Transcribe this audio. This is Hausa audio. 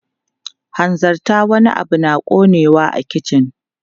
Hanzarta, wani abu na ƙonewa a kicin!